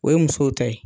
O ye musow ta ye